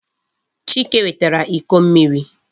Chike wetara iko mmiri.